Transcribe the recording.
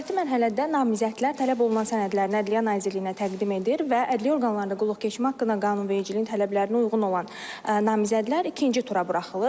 Növbəti mərhələdə namizədlər tələb olunan sənədlərini Ədliyyə Nazirliyinə təqdim edir və Ədliyyə orqanlarında qulluq keçmək haqqında qanunvericiliyin tələblərinə uyğun olan namizədlər ikinci tura buraxılırlar.